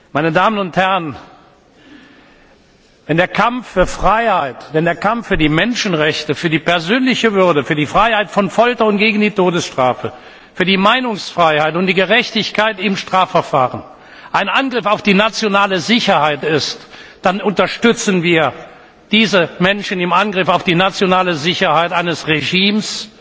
Meine Damen und Herren, wenn der Kampf für Freiheit, wenn der Kampf für die Menschenrechte, für die persönliche Würde, für die Freiheit vor Folter und der Todesstrafe, für die Meinungsfreiheit und die Gerechtigkeit im Strafverfahren ein Angriff auf die nationale Sicherheit ist, dann unterstützen wir diese Menschen im Angriff auf die nationale Sicherheit eines Regimes,